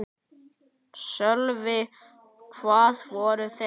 Sölvi: Hvar voru þeir?